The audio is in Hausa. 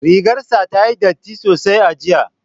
Rigar sa ta yi datti sosai a jiya